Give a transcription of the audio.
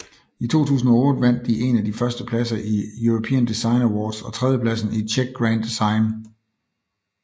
I 2008 vandt de en af de første pladser i European Design Awards og tredjepladsen i Czech Grand design